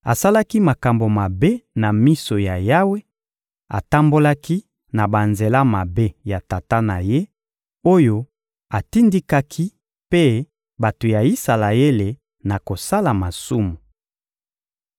Asalaki makambo mabe na miso ya Yawe, atambolaki na banzela mabe ya tata na ye, oyo atindikaki mpe bato ya Isalaele na kosala masumu.